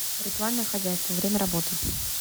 ритуальное хозяйство время работы